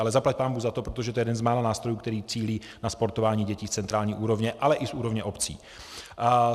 Ale zaplať pánbůh za to, protože to je jeden z mála nástrojů, který cílí na sportování dětí z centrální úrovně, ale i z úrovně obcí.